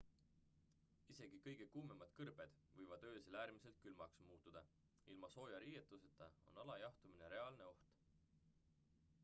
isegi kõige kuumemad kõrbed võivad öösel äärmiselt külmaks muutuda ilma sooja riietuseta on alajahtumine reaalne oht